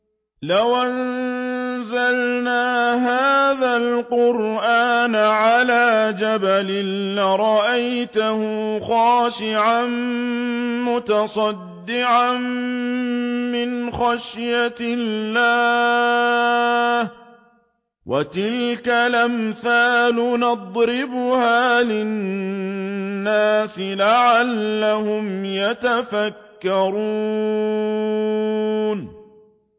لَوْ أَنزَلْنَا هَٰذَا الْقُرْآنَ عَلَىٰ جَبَلٍ لَّرَأَيْتَهُ خَاشِعًا مُّتَصَدِّعًا مِّنْ خَشْيَةِ اللَّهِ ۚ وَتِلْكَ الْأَمْثَالُ نَضْرِبُهَا لِلنَّاسِ لَعَلَّهُمْ يَتَفَكَّرُونَ